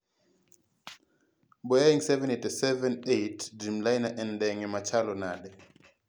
Boeing 787-8 Dreamliner en ndege machalo nade?